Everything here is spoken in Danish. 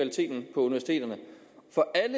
lovet